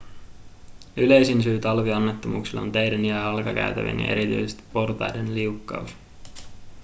yleisin syy talvionnettomuuksille on teiden jalkakäytävien ja erityisesti portaiden liukkaus